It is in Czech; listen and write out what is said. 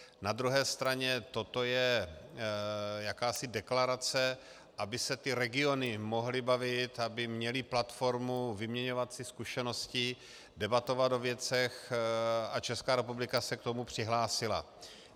Na druhé straně toto je jakási deklarace, aby se ty regiony mohly bavit, aby měly platformu vyměňovat si zkušenosti, debatovat o věcech, a Česká republika se k tomu přihlásila.